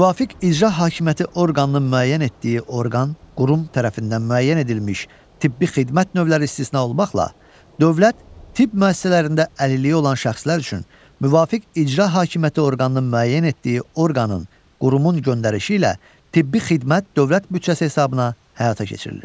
Müvafiq icra hakimiyyəti orqanının müəyyən etdiyi orqan, qurum tərəfindən müəyyən edilmiş tibbi xidmət növləri istisna olmaqla, dövlət tibb müəssisələrində əlilliyi olan şəxslər üçün müvafiq icra hakimiyyəti orqanının müəyyən etdiyi orqanın, qurumun göndərişi ilə tibbi xidmət dövlət büdcəsi hesabına həyata keçirilir.